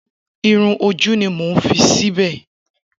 Irun-ojú ni mo ń fi sìbẹ̀.